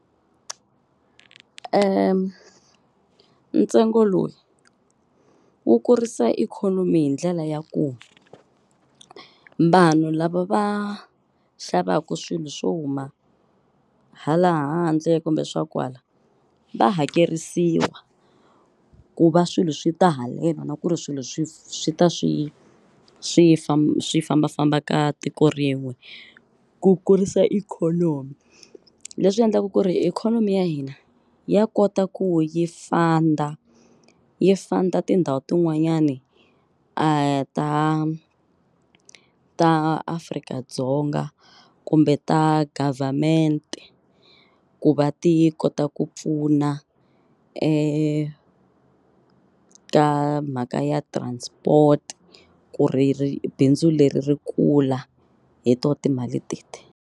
ntsengo lowu wu kurisa ikhonomi hi ndlela ya ku vanhu lava va xavaku swilo swo huma hala handle kumbe swa kwala va hakerisiwa ku va swilo swi ta haleno na ku ri swilo swi swi ta swi swi swi fambafamba ka tiko rin'we ku kurisa ikhonomi leswi endlaku ku ri ikhonomi ya hina ya kota ku yi funder yi funder tindhawu tin'wanyani ta ta Afrika-Dzonga kumbe ta government ku va ti kota ku pfuna ka mhaka ya transport ku ri ri bindzu leri ri kula hi to timali teti.